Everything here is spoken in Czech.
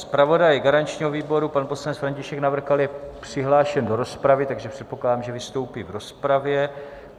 Zpravodaj garančního výboru pan poslanec František Navrkal je přihlášen do rozpravy, takže předpokládám, že vystoupí v rozpravě.